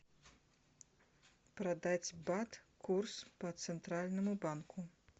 продать бат курс по центральному банку